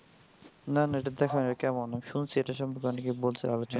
না না এটা দেখা হয় নাই কেমন শুনছি এটা সম্পর্কে অনেকে বলছে আলোচনা.